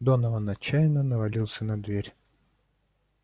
донован отчаянно навалился на дверь